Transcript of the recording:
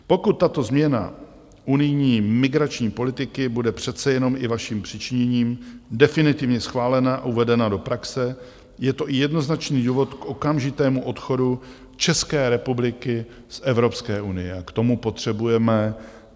Pokud tato změna unijní migrační politiky bude přece jenom i vaším přičiněním definitivně schválena a uvedena do praxe, je to i jednoznačný důvod k okamžitému odchodu České republiky z Evropské unie.